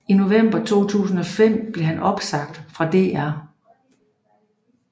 I november 2005 blev han opsagt fra DR